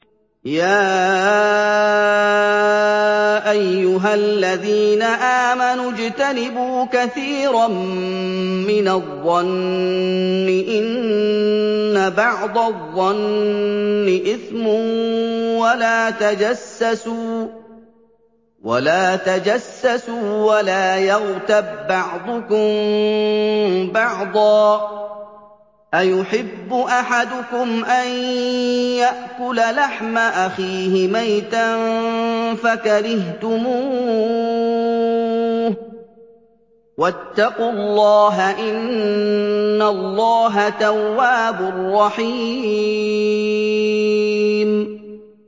يَا أَيُّهَا الَّذِينَ آمَنُوا اجْتَنِبُوا كَثِيرًا مِّنَ الظَّنِّ إِنَّ بَعْضَ الظَّنِّ إِثْمٌ ۖ وَلَا تَجَسَّسُوا وَلَا يَغْتَب بَّعْضُكُم بَعْضًا ۚ أَيُحِبُّ أَحَدُكُمْ أَن يَأْكُلَ لَحْمَ أَخِيهِ مَيْتًا فَكَرِهْتُمُوهُ ۚ وَاتَّقُوا اللَّهَ ۚ إِنَّ اللَّهَ تَوَّابٌ رَّحِيمٌ